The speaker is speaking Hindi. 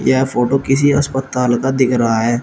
यह फोटो किसी अस्पताल का दिख रहा है।